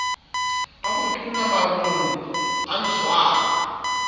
a botona marong a ntshuwang